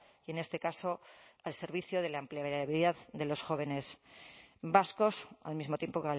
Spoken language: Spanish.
y en este caso al servicio de la empleabilidad de los jóvenes vascos al mismo tiempo